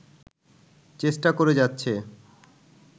চেষ্টা করে যাচ্ছে